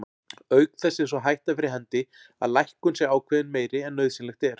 Auk þess er sú hætta fyrir hendi að lækkun sé ákveðin meiri en nauðsynlegt er.